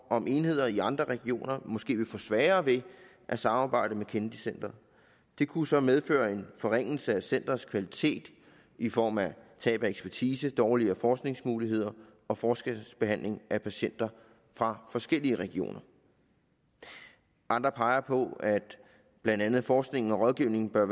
om enheder i andre regioner måske vil få svært ved at samarbejde med kennedy centret det kunne så medføre en forringelse af centerets kvalitet i form af tab af ekspertise dårligere forskningsmuligheder og forskelsbehandling af patienter fra forskellige regioner andre peger på at blandt andet forskningen og rådgivningen bør